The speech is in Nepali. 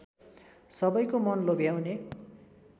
सबैको मन लोभ्याउने